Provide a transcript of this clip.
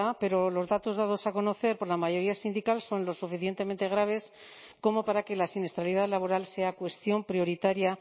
pero los datos dados a conocer por la mayoría sindical son lo suficientemente graves como para que la siniestralidad laboral sea cuestión prioritaria